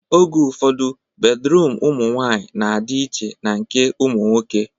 Oge ụfọdụ, bedruum ụmụ nwaanyị na-adị iche na nke ụmụ nwoke